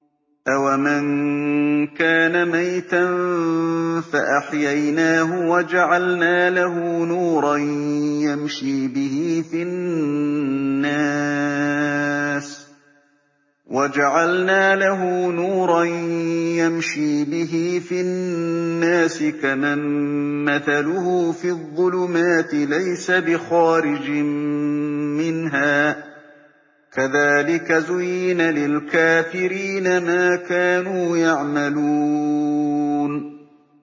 أَوَمَن كَانَ مَيْتًا فَأَحْيَيْنَاهُ وَجَعَلْنَا لَهُ نُورًا يَمْشِي بِهِ فِي النَّاسِ كَمَن مَّثَلُهُ فِي الظُّلُمَاتِ لَيْسَ بِخَارِجٍ مِّنْهَا ۚ كَذَٰلِكَ زُيِّنَ لِلْكَافِرِينَ مَا كَانُوا يَعْمَلُونَ